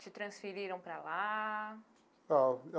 Te transferiram para lá? Ó.